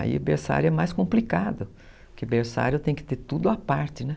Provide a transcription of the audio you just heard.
Aí, berçário é mais complicado, porque berçário tem que ter tudo à parte, né?